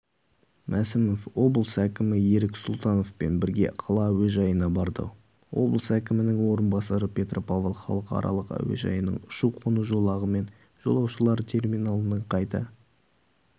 мәсімов облыс әкімі ерік сұлтановпен бірге қала әуежайына барды облыс әкімінің орынбасары петропавл халықаралық әуежайының ұшу-қону жолағы мен жолаушылар терминалының қайта